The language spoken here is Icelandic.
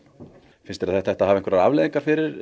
finnst þér að þetta hafa einhverjar afleiðingar fyrir